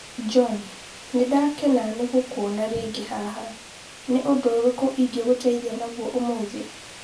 John, nĩ ndakena nĩ gũkuona rĩngĩ haha. Nĩ ũndũ ũrĩkũ ũngĩngũteithia naguo ũmũthĩ?